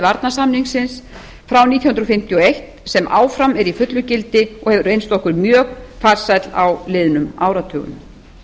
varnarsamningsins frá nítján hundruð fimmtíu og eitt sem áfram er í fullu gildi og hefur reynst okkur mjög farsæll á liðnum áratugum